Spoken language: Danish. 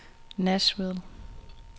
Nashville